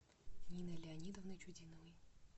ниной леонидовной чудиновой